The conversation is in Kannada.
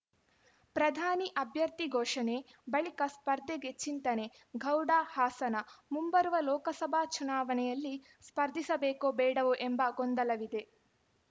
ಪ್ರಧಾನಿ ಅಭ್ಯರ್ಥಿ ಘೋಷಣೆ ಬಳಿಕ ಸ್ಪರ್ಧೆಗೆ ಚಿಂತನೆ ಗೌಡ ಹಾಸನ ಮುಂಬರುವ ಲೋಕಸಭಾ ಚುನಾವಣೆಯಲ್ಲಿ ಸ್ಪರ್ಧಿಸಬೇಕೋ ಬೇಡವೋ ಎಂಬ ಗೊಂದಲವಿದೆ